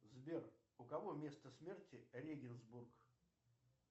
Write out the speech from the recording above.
сбер у кого место смерти регенсбург